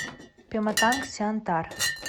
пематангсиантар